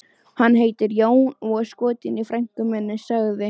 Hann heitir Jón og er skotinn í frænku minni, sagði